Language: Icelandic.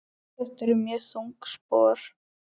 Þetta eru mjög þung spor.